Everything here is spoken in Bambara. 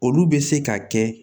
Olu bɛ se ka kɛ